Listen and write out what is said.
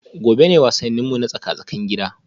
Gobe ​​ne wasanninmu na tsaka-tsakin gida